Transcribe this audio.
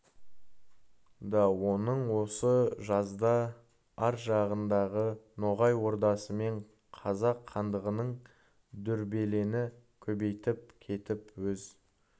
да оның осы жазда ар жағындағы ноғай ордасы мен қазан хандығының дүрбелеңі көбейіп кетіп өз